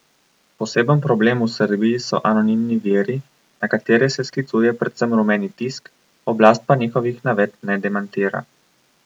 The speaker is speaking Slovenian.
Poseben problem v Srbiji so anonimni viri, na katere se sklicuje predvsem rumeni tisk, oblast pa njihovih navedb ne demantira.